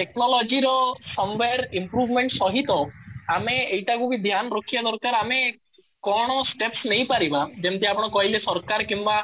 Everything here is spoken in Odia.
ଟେକ୍ନୋଲୋଜି ର some by improvement ସହିତ ଆମେ ଏଇଟା କୁ ବି ଧ୍ୟାନ ରଖିବା ଦରକାର ଆମେ କଣ steps ନେଇପାରିବା ଯେମିତି ଆପଣ କହିଲେ ସରକାର କିମ୍ବା